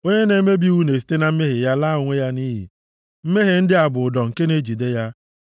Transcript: Onye na-emebi iwu na-esite na mmehie ya laa onwe ya nʼiyi; mmehie ndị a bụ ụdọ nke na-ejide ya.